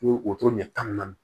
Ni wotoro ɲɛ tan ni naani